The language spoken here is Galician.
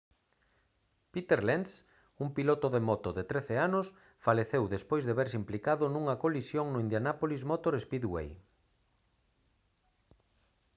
peter lenz un piloto de moto de 13 anos faleceu despois de verse implicado nunha colisión no indianapolis motor speedway